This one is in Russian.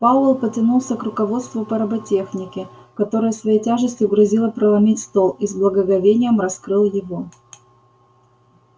пауэлл потянулся к руководству по роботехнике которое своей тяжестью грозило проломить стол и с благоговением раскрыл его